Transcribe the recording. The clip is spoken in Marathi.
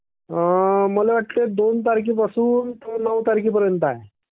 मला वाटते दोन तारखेपासून नऊ तारखेपर्यंत आहे.